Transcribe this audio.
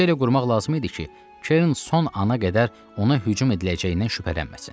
İş elə qurmaq lazım idi ki, Kern son ana qədər ona hücum ediləcəyindən şübhələnməsin.